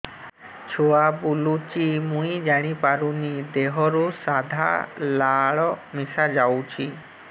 ଛୁଆ ବୁଲୁଚି ମୁଇ ଜାଣିପାରୁନି ଦେହରୁ ସାଧା ଲାଳ ମିଶା ଯାଉଚି